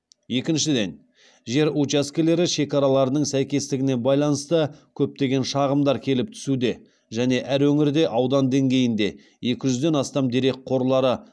екіншіден жер учаскелері шекараларының сәйкестігіне байланысты көптеген шағымдар келіп түсуде және әр өңірде аудан деңгейінде екі жүзден астам дерек қорлары